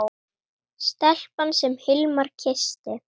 Stelpan sem Hilmar kyssti.